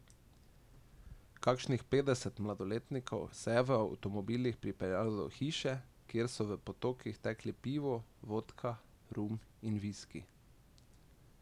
Kakšnih petdeset mladoletnikov se je v avtomobilih pripeljalo do hiše, kjer so v potokih tekli pivo, vodka, rum in viski.